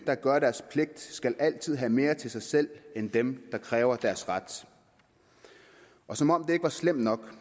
der gør deres pligt skal altid have mere til sig selv end dem der kræver deres ret som om det ikke er slemt nok